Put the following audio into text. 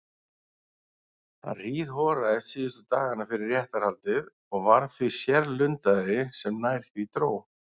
Hann hríðhoraðist síðustu dagana fyrir réttarhaldið og varð því sérlundaðri sem nær því dró.